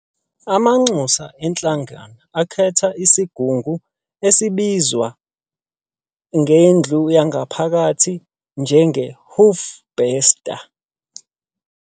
Amanxusa eNhlangano akhetha isiGungu, abizwa ngendlu yangaphakathi njenge 'Hoofbestuur'.